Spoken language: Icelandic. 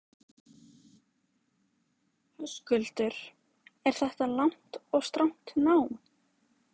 Höskuldur: Er þetta langt og strangt nám?